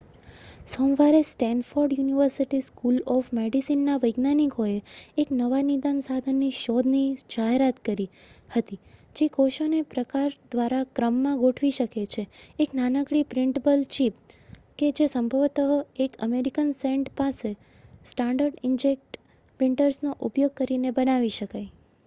સોમવારે Stanford University School of મેડિસિનના વૈજ્ઞાનિકોએ એક નવા નિદાન સાધનની શોધની જાહેરાત કરી હતી જે કોષોને પ્રકાર દ્વારા ક્રમમાં ગોઠવી શકે છેઃ એક નાનકડી પ્રિન્ટેબલ ચિપ કે જે સંભવતઃ એક અમેરિકન સેન્ટ માટે સ્ટાન્ડર્ડ ઇન્કજેટ પ્રિન્ટર્સનો ઉપયોગ કરીને બનાવી શકાય